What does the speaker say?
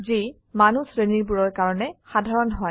যি মানুহ শ্ৰেণী বোৰৰ কাৰনে সাধাৰণ হয়